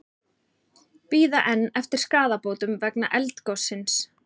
Bíða enn eftir skaðabótum vegna eldgossins